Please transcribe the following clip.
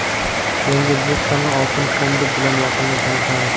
Yangi O‘zbekistonning oltin fondi bilan yaqindan tanishamiz!.